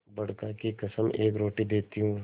बड़का की कसम एक रोटी देती हूँ